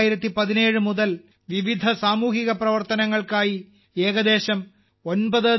2017 മുതൽ വിവിധ സാമൂഹിക പ്രവർത്തനങ്ങൾക്കായി ഏകദേശം 9